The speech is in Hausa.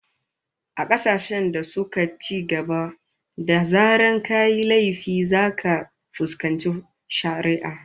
A kasashen da suka cigaba, da zarar kayi laifi zaka fuskanci shari'a